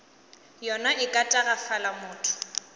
yona e ka tagafala motho